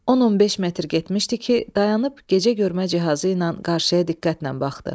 10-15 metr getmişdi ki, dayanıp gecəgörmə cihazı ilə qarşıya diqqətlə baxdı.